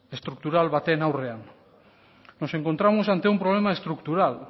estruktural baten aurrean nos encontramos ante un problema estructural